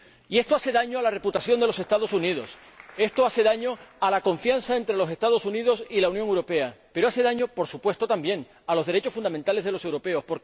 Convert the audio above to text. Y esto hace daño a la reputación de los Estados Unidos, esto hace daño a la confianza entre los Estados Unidos y la Unión Europea, pero hace daño —por supuesto también— a los derechos fundamentales de los europeos.